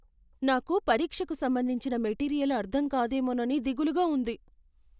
నాకు పరీక్షకు సంబంధించిన మెటీరియల్ అర్థం కాదేమోనని దిగులుగా ఉంది.